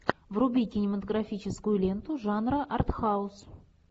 вруби кинематографическую ленту жанра артхаус